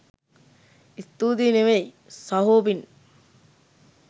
ස්තූතියි නෙවෙයි සහෝ පිං